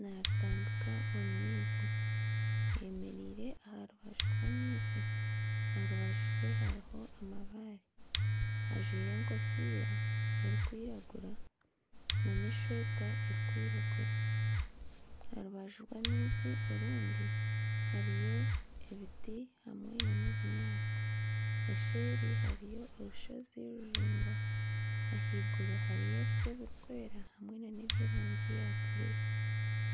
naaritambika omu maizi. Ayemereire aha rubaju rw'amaizi. Aha rubaju rwe hariho amabaare. Ajwaire enkofiira erikwiragura nana eshweta erikwiragura. Aha rubaju rw'amaizi orundi hariyo ebiti hamwe nana obunyaatsi. Eseeri hariyo orushozi ruraingwa. Ahaiguru hariyo ebicu ebirikwera hamwe nana eby'erangi ya bururu.